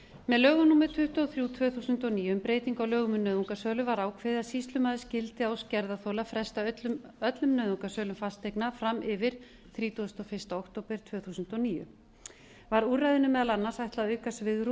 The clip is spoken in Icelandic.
með lögum númer tuttugu og þrjú tvö þúsund og níu um breytingu á lögum um nauðungarsölu var ákveðið að sýslumaður skyldi að ósk gerðarþola fresta öllum nauðungarsölum fasteigna fram yfir þrítugasta og fyrsta október tvö þúsund og níu var úrræðunum meðal annars ætlað að auka svigrúm